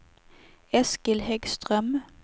Eskil Häggström